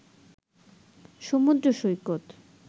সমুদ্র সৈকত